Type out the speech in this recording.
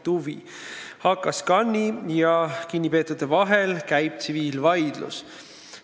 HKScani ja kinnipeetute vahel käib tsiviilvaidlus.